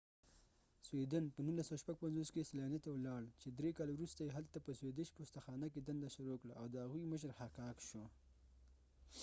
په 1956 کې slania سویدن ته ولاړ چې درې کاله وروسته یې هلته په سویدش پوستخانه کې دنده شروع کړه او د هغوۍ مشر حکاک شو